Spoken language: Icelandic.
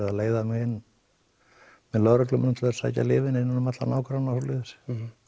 að leiða mig inn með lögreglumönnum til sækja lyfin innan um alla nágranna og svoleiðis